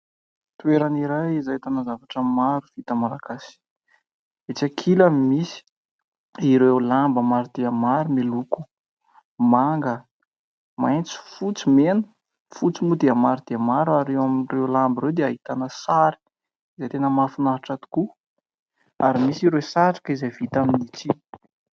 Toerana iray, izay ahitana zavatra maro, vita malagasy ; etsy ankilany misy, ireo lamba maro dia maro miloko : manga, maintso, fotsy, mena. Fotsy mo dia, maro dia maro, ary ao amireo lamba 'reo dia ahitana sary ; izay tena mahafinaritra tokoa. Ary misy ireo satroka, izay vita amin'ny tsihy.